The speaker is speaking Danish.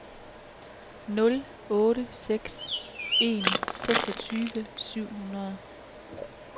nul otte seks en seksogtyve syv hundrede